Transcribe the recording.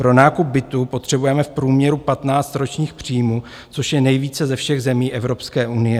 Pro nákup bytu potřebujeme v průměru 15 ročních příjmů, což je nejvíce ze všech zemí Evropské unie.